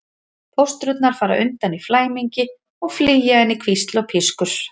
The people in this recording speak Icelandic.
Fóstrurnar fara undan í flæmingi og flýja inn í hvísl og pískur.